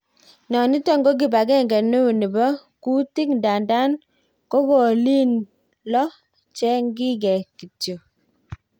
Noniton ko kipangenge neo nepo kutik, ndadan ko kolyn lo cheng ginge kityo.